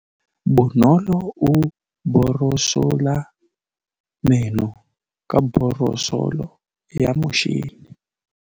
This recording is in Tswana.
Bonolô o borosola meno ka borosolo ya motšhine.